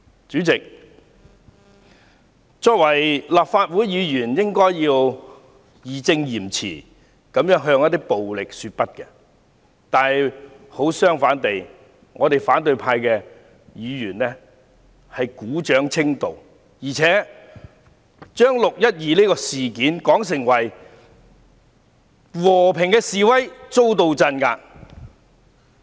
主席，作為立法會議員，應該要義正詞嚴地向暴力說不，可是，反對派議員卻鼓掌稱道，而且將"六一二"事件說成是和平示威遭到鎮壓。